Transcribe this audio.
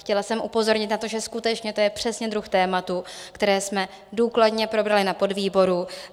Chtěla jsem upozornit na to, že skutečně to je přesně druh tématu, které jsme důkladně probrali na podvýboru.